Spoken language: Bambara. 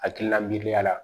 Hakilina miiriya la